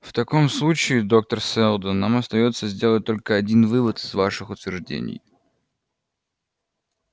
в таком случае доктор сэлдон нам остаётся сделать только один вывод из ваших утверждений